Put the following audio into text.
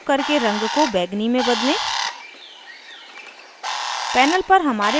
popअप menu प्रयोग करके रंग को बैंगनी में बदलें